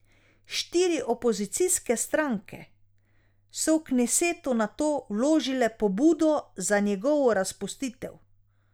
Štiri opozicijske stranke so v knesetu nato vložile pobudo za njegovo razpustitev.